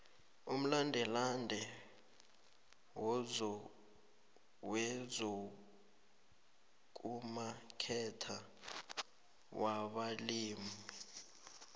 umlandelande wezokumaketha wabalimi